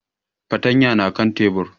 Fartanyan na kan tebur